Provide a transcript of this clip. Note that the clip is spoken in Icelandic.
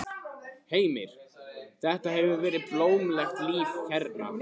Heimir: Þetta hefur verið blómlegt líf hérna?